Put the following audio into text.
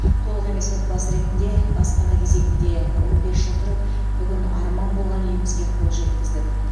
толық емес отбасы ретінде баспана кезегінде он бес жыл тұрып бүгін арман болған үйімізге қол жеткіздік